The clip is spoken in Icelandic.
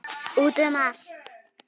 Út um allt.